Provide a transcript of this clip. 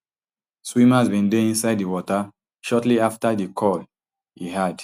swimmers bin dey inside di water shortly afta di call e add